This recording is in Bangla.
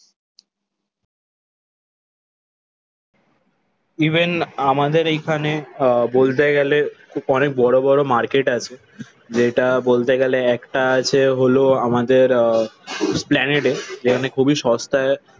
ইভেন আমাদের এইখানে আহ বলতে গেলে অনেক বড় বড় মার্কেট আছে। যেটা বলতে গেলে একটা আছে হলো আমাদের আহ এস্প্লানেটে যেখানে খুবই সস্তায়